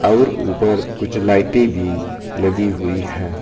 आउर ऊपर कुछ लाइटें भी लगी हुई है।